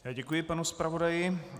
Já děkuji panu zpravodaji.